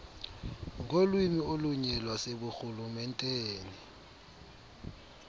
ngolwimi olunye lwaseburhulumenteni